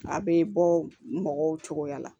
A bɛ bɔ mɔgɔw cogoya la